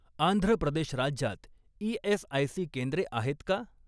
आंध्र प्रदेश राज्यात ई.एस.आय.सी केंद्रे आहेत का?